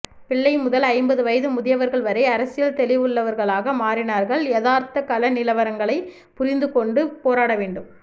பிள்ளைமுதல் ஐம்பது வயது முதியவர்கள் வரை அரசியல் தெளிவுள்ளவர்களாக மாறினார்கள் யாதார்த்தக்களநிலவரங்களைப்புரிந்துகொண்டு போராடவேண்டும்